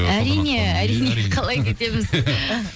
әрине әрине қалай кетеміз